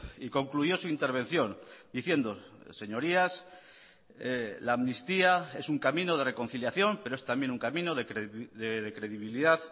y concluyó su intervención diciendo señorías la amnistía es un camino de reconciliación pero es también un camino de credibilidad